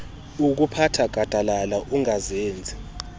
okuphatha gadalala angazenzi